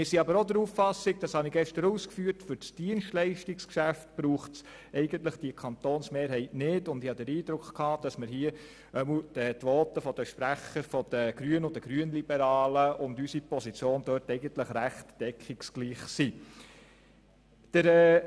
Wir sind aber auch der Auffassung, für das Dienstleistungsgeschäft brauche es diese Kantonsmehrheit nicht, und ich habe den Eindruck, dass die Voten der Grünen und der Grünliberalen mit unserer Position ziemlich deckungsgleich sind.